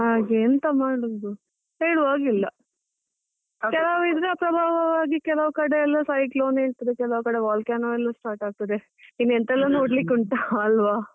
ಹಾಗೆ ಎಂತ ಮಾಡುದು, ಹೇಳುವಾಗೆ ಇಲ್ಲ ಕೆಲವ್ ಕೆಲವ್ ಕಡೆ ಎಲ್ಲಾ cyclone ಇರ್ತದೆ, ಕೆಲವ್ ಕಡೆ volcano ಎಲ್ಲಾ start ಆಗ್ತಾದೆ ಎಂತ ಎಲ್ಲಾ ನೋಡ್ಲಿಕ್ಕೆ ಉಂಟಾ ಅಲ್ವಾ.